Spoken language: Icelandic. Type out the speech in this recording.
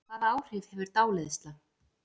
Hvaða áhrif hefur dáleiðsla?